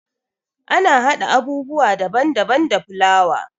Ana haɗa abubuwa daban daban da fulawa.